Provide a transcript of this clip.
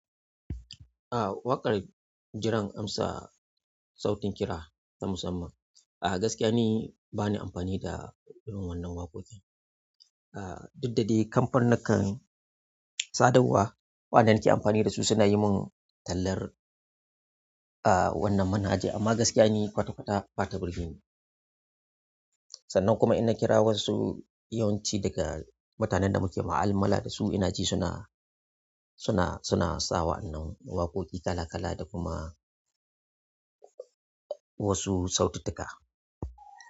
Ah, waƙar jiran amsa sautin kira ta musamman. A gaskiya ni bani amfani da irin wannan waƙoƙin ah, duk da dai kamfanin nikan sadarwa waɗanda nake amfani da su suna yi mun tallar ah wannan manhaja amma gaskiya ni kwata-kwata bata birge ni. Sannan kuma inna kira wasu yawanci daga mutanen da muke ma'alamala da su ina ji suna, suna, suna sawa wannan waƙoƙi kala kala da kuma wasu saututtuka.